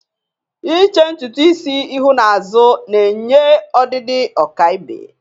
Iche ntutu isi ihu n'azụ na-enye ọdịdị ọkaibe.